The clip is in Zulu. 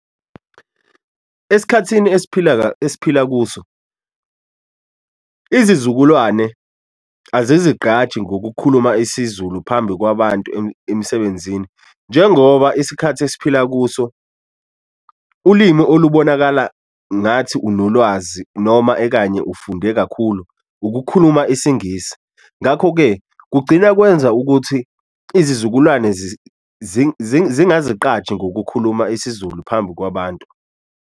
Esikhathini esiphila esiphila kuso, izizukulwane azizigqaji ngokukhuluma isiZulu phambi kwabantu emsebenzini, njengoba isikhathi esiphila kuso ulimi olubonakala ngathi unolwazi noma ekanye ufunde kakhulu ukukhuluma isiNgisi. Ngakho-ke, kugcina kwenza ukuthi izizukulwane zingazigqaji ngokukhuluma isiZulu phambi kwabantu.